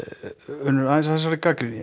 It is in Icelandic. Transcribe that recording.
Unnur aðeins að þessari gagnrýni